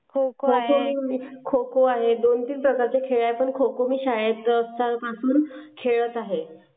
खो खो खो अजून दोन तीन प्रकारचे खेळ आहे पण खो-खो मी शाळेत जातंपासुन खेळत आहे.